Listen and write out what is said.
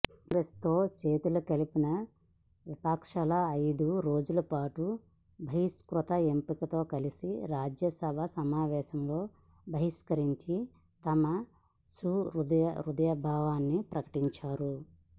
కాంగ్రెస్తో చేతులు కలిపిన విపక్షాలు అయిదు రోజులపాటు బహిష్కృత ఎంపీలతో కలిసి రాజ్యసభ సమావేశాలను బహిష్కరించి తమ సుహృద్భావాన్ని ప్రకటించారు